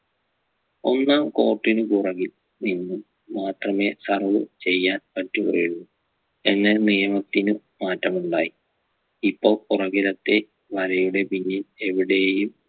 ഒന്നാം court നു പുറകിൽ നിന്നും മാത്രമേ serve ചെയ്യാൻ പറ്റുകയുള്ളൂ എന്ന നിയമത്തിനു മാറ്റമുണ്ടായി ഇപ്പൊ പുറകിലത്തെ വലയുടെ പിന്നിൽ എവിടെയും